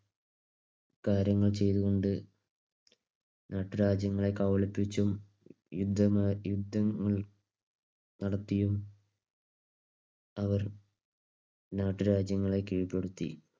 കാര്യങ്ങൾ ചെയ്തുകൊണ്ട് നാട്ടുരാജ്യങ്ങളെ കബളിപ്പിച്ചുംയുദ്ധങ്ങൾ നടത്തിയും അവർ നാട്ടുരാജ്യങ്ങളെ കീഴ്പ്പെടുത്തി.